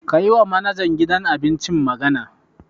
Ka yiwa manajan gidan abincin magana.